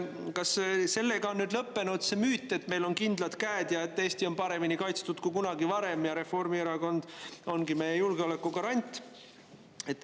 Kas sellega on lõppenud see müüt, et meil on kindlad käed ja et Eesti on paremini kaitstud kui kunagi varem ja Reformierakond ongi meie julgeoleku garant?